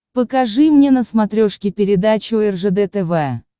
покажи мне на смотрешке передачу ржд тв